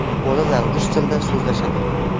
Bolalar rus tilida so‘zlashadi.